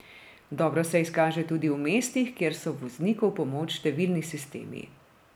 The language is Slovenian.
Dobro se izkaže tudi v mestih, kjer so vozniku v pomoč številni sistemi.